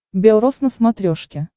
белрос на смотрешке